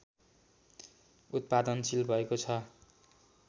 उत्पादनशील भएको छ